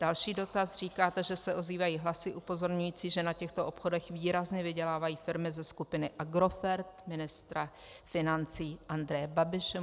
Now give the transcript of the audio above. Další dotaz: "Říkáte, že se ozývají hlasy upozorňující, že na těchto obchodech výrazně vydělávají firmy ze skupiny Agrofert ministra financí Andreje Babiše.